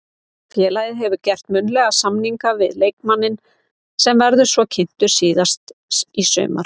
Félagið hefur gert munnlegan samning við leikmanninn sem verður svo kynntur síðar í sumar.